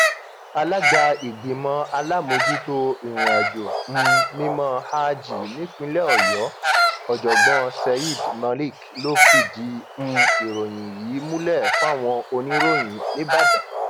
alága ìgbìmọ alámòójútó ìrìnàjò um mímọ háàjì nípìnlẹ ọyọ ọjọgbọn sayed malik ló fìdí um ìròyìn yìí múlẹ fáwọn oníròyìn nìbàdàn